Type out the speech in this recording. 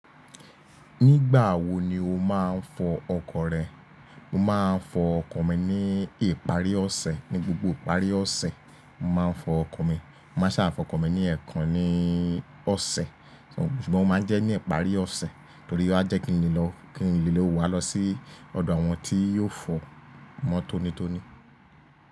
Nígbà wo ni o máa ń fọ ọkọ̀ rẹ? Mo máa ń fọ ọkọ̀ mi ní ìparí ọ̀sẹ̀, ní gbogbo ìparí ọ̀sẹ̀. Mo máa ń fọ ọkọ̀ mi, mo máa ṣà fọ ọkọ̀ mi ní ẹ̀ẹ̀kan ní ọ̀sẹ̀. Ṣùgbọ́n mo máa ń jẹ́ ní ìparí ọ̀sẹ̀ torí a jẹ́ kí n le lọ, kí n lè lo wá lọ sí ọ̀dọ̀ àwọn tí yóò fọ̀ mọ́ tonitoni.